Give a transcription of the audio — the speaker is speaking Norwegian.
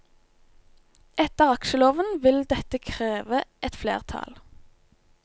Etter aksjeloven vil dette kreve et flertall.